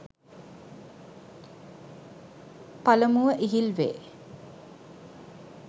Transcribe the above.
පළමුව ඉහිල් වේ.